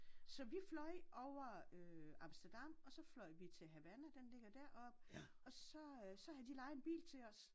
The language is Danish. Så vi fløj over øh Amsterdam og så fløj vi til Havana den ligger dér oppe og så øh havde det lejet en bil til os